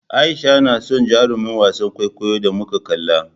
A'isha na son jarumin wasan kwaikwayon da muka kalla.